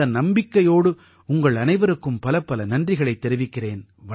இந்த நம்பிக்கையோடு உங்கள் அனைவருக்கும் பலப்பல நன்றிகளைத் தெரிவிக்கிறேன்